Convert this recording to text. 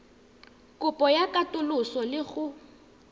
kopo ya katoloso le go